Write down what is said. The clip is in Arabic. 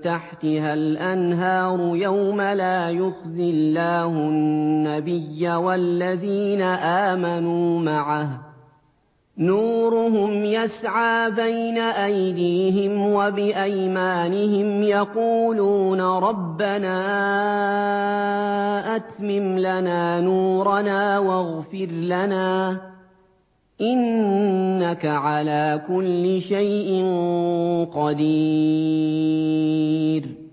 تَحْتِهَا الْأَنْهَارُ يَوْمَ لَا يُخْزِي اللَّهُ النَّبِيَّ وَالَّذِينَ آمَنُوا مَعَهُ ۖ نُورُهُمْ يَسْعَىٰ بَيْنَ أَيْدِيهِمْ وَبِأَيْمَانِهِمْ يَقُولُونَ رَبَّنَا أَتْمِمْ لَنَا نُورَنَا وَاغْفِرْ لَنَا ۖ إِنَّكَ عَلَىٰ كُلِّ شَيْءٍ قَدِيرٌ